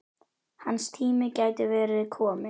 Hans tími gæti verið kominn.